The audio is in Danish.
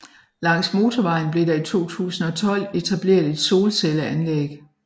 Langs motorvejen blev der i 2012 etableret et solcelleanlæg